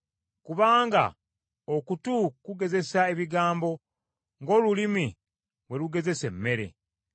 Kubanga okutu kugezesa ebigambo ng’olulimi bwe lugezesa emmere.